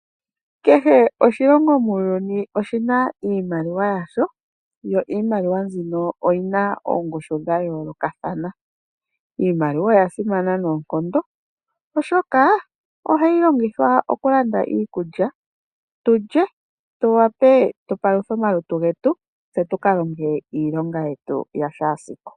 Kehe oshilongo muuyuni oshi na iimaliwa yasho yo iimaliwa mbino oyi na oongushu dha yoolokathana. Iimaliwa oya simana noonkondo oshoka ohayi longithwa okulanda iikulya tu lye tu wape tupaluthe omalutu getu tse tuka longe iilonge yetu yashaasiku.